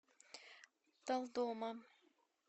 талдома